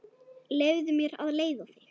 Leyfðu mér að leiða þig.